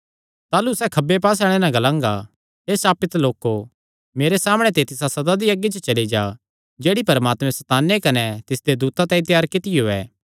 ताह़लू सैह़ खब्बे पास्से आल़ेआं नैं ग्लांगा हे श्रापित लोको मेरे सामणै ते तिसा सदा दी अग्गी च चली जा जेह्ड़ी परमात्मे सैताने कने तिसदे दूतां तांई त्यार कित्तियो ऐ